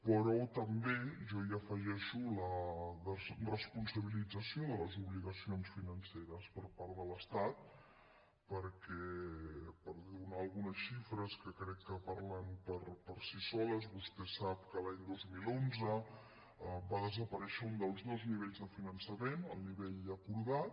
però també jo hi afegeixo la desresponsabilització de les obligacions financeres per part de l’estat perquè per donar algunes xifres que crec que parlen per si soles vostè sap que l’any dos mil onze va desaparèixer un dels dos nivells de finançament el nivell acordat